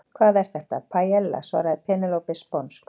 Hvað er þetta? Paiella, svaraði Penélope sponsk.